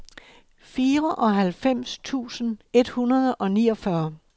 fireoghalvfems tusind et hundrede og niogfyrre